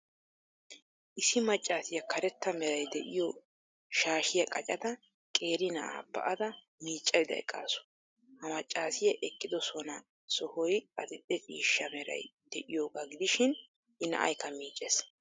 Issi maccaasiya karetta meray de'iyo shaashiya qacada, qeeri na'aa ba'ada miiccaydda eqqaasu. Ha maccaasiya eqqidosona sohoy adil''e ciishsha meray de'iyogaa gidishin I na'aykka miiccees.